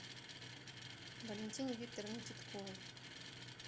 валентине викторовне титковой